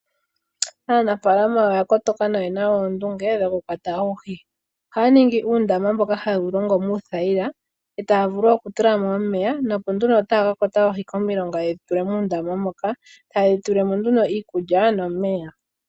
Aanafalama oya kotoka na oyena oondunge dhokukwata oohi, ohaya ningi uundama mboka haye wu longo muuthayila, etaya vulu okutulamo omeya nopo nduno taya ka kwata oohi komilonga yeshi tule moondama moka. Taye dhi tulime mo nduno iikulya nomeya.